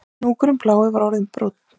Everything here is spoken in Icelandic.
Hnúkurinn blái var orðinn brúnn